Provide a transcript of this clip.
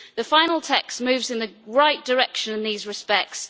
The final text moves in the right direction in these respects.